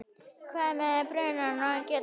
hvað með brunann að gera.